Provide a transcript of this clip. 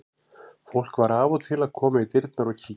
Fólk var af og til að koma í dyrnar og kíkja.